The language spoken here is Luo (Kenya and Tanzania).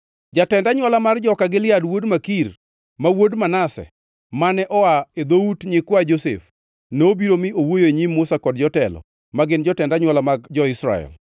Jatend anywola mar joka Gilead wuod Makir, ma wuod Manase, mane oa e dhout nyikwa Josef, nobiro mi owuoyo e nyim Musa kod jotelo, ma gin jotend anywola mag jo-Israel.